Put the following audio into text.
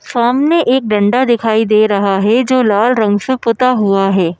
सामने एक डंडा दिखाई दे रहा है जो लाल रंग से पुता हुआ है।